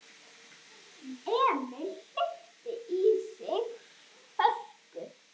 Emil hleypti í sig hörku.